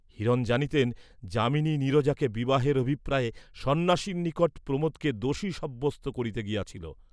হিরণ জানিতেন, যামিনী নীরজাকে বিবাহের অভিপ্রায়ে সন্ন্যাসীর নিকট প্রমোদকে দোষী সাব্যস্ত করিতে গিয়াছিল।